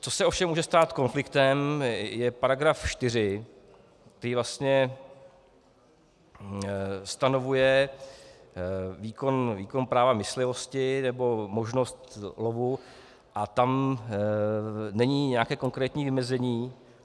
Co se ovšem může stát konfliktem, je paragraf 4, který vlastně stanovuje výkon práva myslivosti nebo možnost lovu a tam není nějaké konkrétní vymezení.